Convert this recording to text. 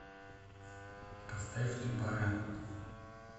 поставь не пара